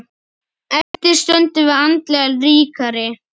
Eftir stöndum við andlega ríkari.